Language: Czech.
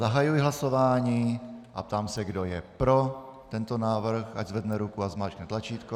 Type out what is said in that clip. Zahajuji hlasování a ptám se, kdo je pro tento návrh, ať zvedne ruku a zmáčkne tlačítko.